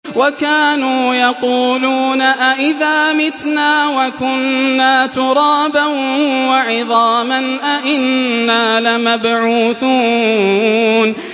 وَكَانُوا يَقُولُونَ أَئِذَا مِتْنَا وَكُنَّا تُرَابًا وَعِظَامًا أَإِنَّا لَمَبْعُوثُونَ